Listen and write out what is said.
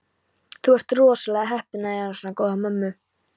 Þú ert rosalega heppinn að eiga svona góða mömmu.